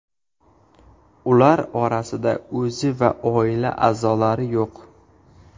Ular orasida o‘zi va oila a’zolari yo‘q.